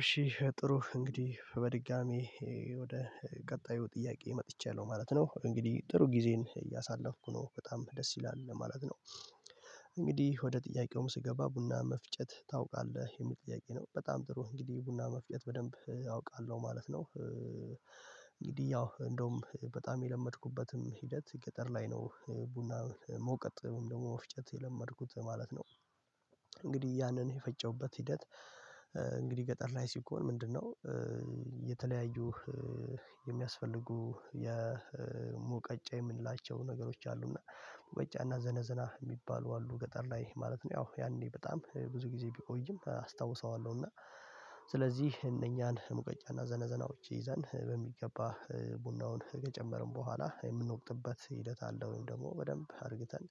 እሺ ጥሩ እንግዲህ በድጋሚ ወደ ቀጣዩ ጥያቄ መጥቻለሁ ማለት ነው እንግዲህ ጥሩ ጊዜን እያሳለፍኩ ነው በጣም ደስ ይላል ለማለት ነው። እንግዲህ ወደ ጥያቄውም ስገባ ቡና መፍጨት ታውቃለህ የሚል ጥያቄ ነው? በጣም ጥሩ እንግዲህ ቡና መፍጨት በደንብ አውቃለሁ ማለት ነው። ያው እንደውም በጣም የለመድኩበትም ሂደት ገጠር ላይ ነው ቡና መውቀጥ ደግሞ መፍጨት የለመድኩት ማለት ነው። እንግዲህ ያንን የፈጨውበት ሂደት እንግዲህ ገጠር ላይ ሲኮን ምንድነው? የተለያዩ የሚያስፈልጉ የሙቀጫ የምንላቸው ነገሮች አሉና ሙቀጫና ዘነዘና የሚባሉ አሉ ገጠር ላይ ማለት ነው ያው ያኔ በጣም ብዙ ጊዜ ቢቆይም አስታውሰዋለሁ። እና ስለዚህ እነኛን ሙቀጫና ዘነዘናዎች ይዘን በሚገባ ቡናውን ከጨመርን በኋላ የምንወቅጥበት ሂደት አለ ወይም ደግሞ በደንብ አድርግተን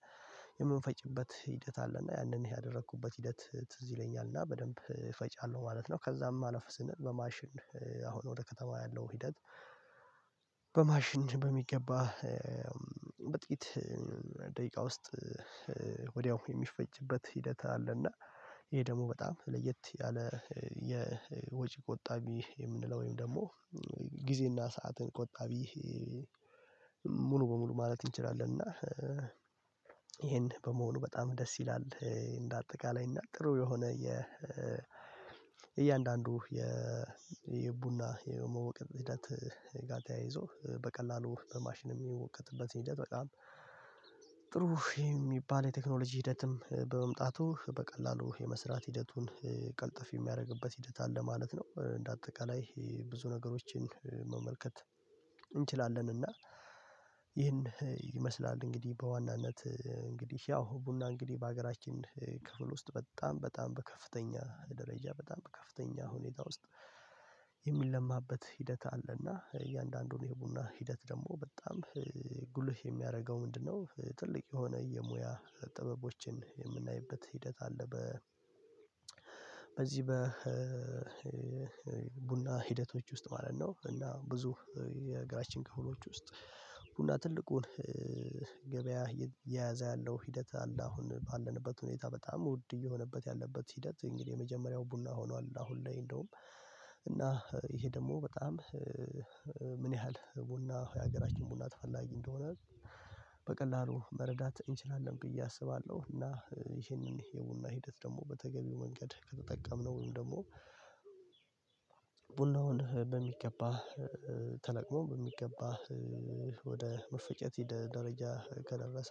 የምፈጭበት ሂደት አለና ያንን ያደረኩበት ሂደት ትዝ ይለኛልና በደንብ እፈጫለሁ ማለት ነው። ከዛም አለፍ ስንል በማሽን አሁን ወደ ከተማው ያለው ሂደት። በማሽን በሚገባ በጥቂት ደቂቃ ውስጥ ወዲያው የሚፈጅበት ሂደት አለና። ይሄ ደግሞ በጣም ለየት ያለ የወጪ ቆጣቢ የምንለው ወይም ደግሞ ጊዜና ሰዓትን ቆጣቢ ሙሉ በሙሉ ማለት እንችላለን። እና ይሄን በመሆኑ በጣም ደስ ይላል እንደ አጠቃላይ እና ጥሩ የሆነ የ እያንዳንዱ የየቡና የመውቀጥ ሂደት። ጋር ተያይዞ በቀላሉ በማሽን የሚወቀጥበት ሂደት በጣም ጥሩ የሚባል የቴክኖሎጂ ሂደትም በመምጣቱ በቀላሉ የመስራት ሂደቱን ቀልጥፍ የሚያደርግበት ሂደት አለ ማለት ነው። እንደ አጠቃላይ ብዙ ነገሮችን እንችላለን እና ይህን ይመስላል። እንግዲህ በዋናነት እንግዲህ ያው ቡና እንግዲህ በሀገራችን ክፍል ውስጥ በጣም በጣም በከፍተኛ ደረጃ በጣም በከፍተኛ ሁኔታ ውስጥ የሚለማበት ሂደት አለና እያንዳንዱን የቡና ሂደት ደግሞ በጣም ጉልህ የሚያደርገው ምንድነው? ትልቅ የሆነ የሙያ ጥበቦችን የምናይበት ሂደት አለ። በ በዚህ በቡና ሂደቶች ውስጥ ማለት ነው እና ብዙ የሀገራችን ክፍሎች ውስጥ ቡና ትልቁን ገበያ እየያዘ ያለው ሂደት አለ። አሁን ባለንበት ሁኔታ በጣም ውድ እየሆነበት ያለበት ሂደት እንግዲህ የመጀመሪያው ቡና ሆኗል። አሁን ላይ እንደውም እና ይሄ ደግሞ በጣም ምን ያህል ቡና የሀገራችን ቡና ተፈላጊ እንደሆነ በቀላሉ መረዳት እንችላለን ብዬ አስባለሁ። እና ይሄንን የቡና ሂደት ደግሞ በተገቢው መንገድ ከተጠቀምነው ወይም ደግሞ ቡናውን በሚገባ ተለቅሞ በሚገባ ወደ መፈጨት ደረጃ ከደረሰ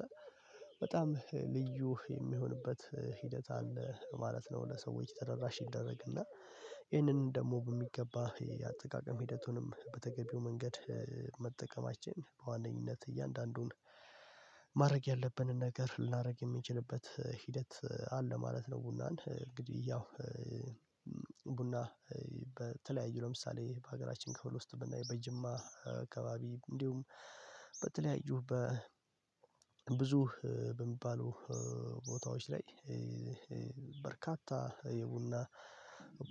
በጣም ልዩ የሚሆንበት ሂደት አለ ማለት ነው። ለሰዎች ተደራሽ ይደረግና ይህንን ደግሞ በሚገባ የአጠቃቀም ሂደቱንም በተገቢው መንገድ መጠቀማችን በዋነኝነት እያንዳንዱን ማድረግ ያለብንን ነገር ልናደርግ የምንችልበት ሂደት አለ ማለት ነው። ቡናን እንግዲህ ያው ቡና በተለያዩ ለምሳሌ በሀገራችን ከፍል ውስጥ በጅማ አካባቢ እንዲሁም በተለያዩ በ ብዙ በሚባሉ ቦታዎች ላይ በርካታ የቡና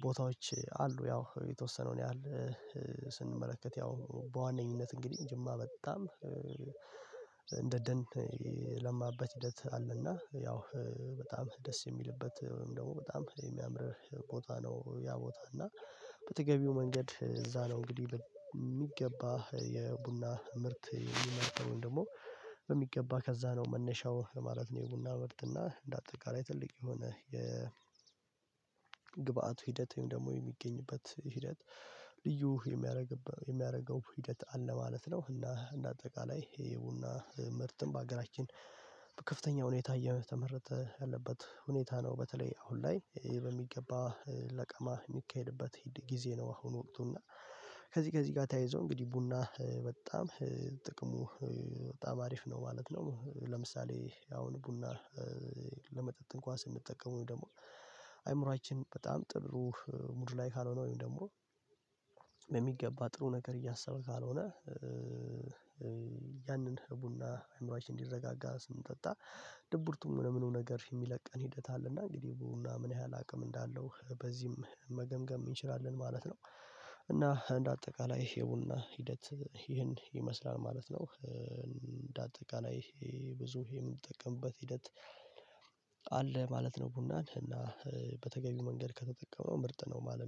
ቦታዎች አሉ። ያው የተወሰነውን ያህል ስንመለከት ያው በዋነኝነት እንግዲህ ጅማ በጣም ደን የለማበት ሂደት አለና ያው በጣም ደስ የሚልበት ወይም ደግሞ በጣም የሚያምርህ ቦታ ነው። ያ ቦታ እና በተገቢው መንገድ እዛ ነው እንግዲህ በሚገባህ የቡና ምርት የሚመረተው ወይም ደግሞ በሚገባ ከዛ ነው መነሻው ማለት ነው። የቡና ምርት እና እንደ አጠቃላይ ትልቅ የሆነ የ ግብአት ሂደት ወይም ደግሞ የሚገኝበት ሂደት ልዩ የሚያደርገው ሂደት አለ ማለት ነው። እና እንደ አጠቃላይ ይሄ የቡና ምርትም በሀገራችን ከፍተኛ ሁኔታ እየተመረተ ያለበት ሁኔታ ነው። በተለይ አሁን ላይ ይሄ በሚገባ ለቀማ የሚካሄድበት ጊዜ ነው። አሁን ወቅቱ እና ከዚህ ከዚህ ጋር ተያይዞ እንግዲህ ቡና በጣም ጥቅሙ በጣም አሪፍ ነው ማለት ነው። ለምሳሌ አሁን ቡና ለመጠጥን እንኳን ስንጠቀመው ደግሞ አይምሮአችን በጣም ጥሩ ሙድ ላይ ካልሆነ ወይም ደግሞ በሚገባ ጥሩ ነገር እያሰበ ካልሆነ ያንን ቡና አእምሮአችን እንዲረጋጋ ስንጠጣ ድብርቱም ለምኑ ነገር የሚለቀን ሂደት አለና እንግዲህ ቡና ምን ያህል አቅም እንዳለው በዚህም መገምገም እንችላለን ማለት ነው። እና እንደ አጠቃላይ ይሄ የቡና ሂደት ይህን ይመስላል ማለት ነው። እንደ አጠቃላይ ይሄ ብዙ የምንጠቀምበት ሂደት አለ ማለት ነው። ቡናን እና በተገቢው መንገድ ከተጠቀምነው ምርጥ ነው ማለት